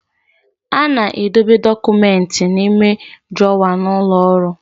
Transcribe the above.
A na-edobe dọkụmenti n'ime drọwa n'ụlọ ọrụ.